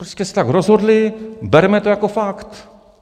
Prostě se tak rozhodli, berme to jako fakt.